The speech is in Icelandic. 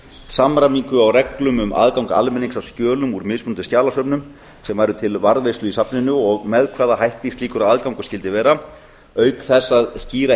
samræmingu á reglum um aðgang almennings að skjölum úr mismunandi skjalasöfnum sem væru til varðveislu í safninu og með hvaða hætti slíkur aðgangur skyldi vera auk þess að skýra